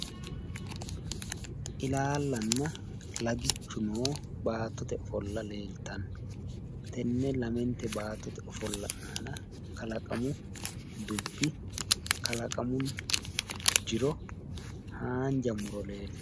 Ilaallanna lagichu noo baatote ofolla leeltanno. Tenne lamente baattote ofolla aana kalaqamu dubbi kalaqamu jiro haanja muro leeltanno.